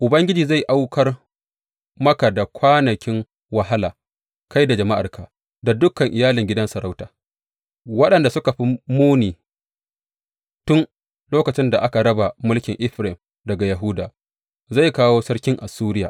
Ubangiji zai aukar maka da kwanakin wahala, kai da jama’arka, da dukan iyalin gidan sarauta, waɗanda suka fi muni tun lokacin da aka raba mulkin Efraim daga na Yahuda, zai kawo sarkin Assuriya.